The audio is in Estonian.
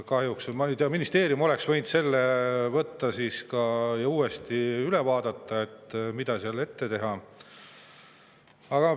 Ma ei tea, ministeerium oleks võinud võtta selle ette ja uuesti üle vaadata, et mida seal saaks veel teha.